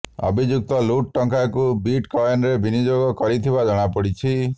ଅଭିଯୁକ୍ତ ଲୁଟ ଟଙ୍କାକୁ ବିଟ କଏନରେ ବିନିଯୋଗ କରିଥିବା ଜଣାପଡ଼ିଛି